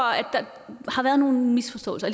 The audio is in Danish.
der har været nogle misforståelser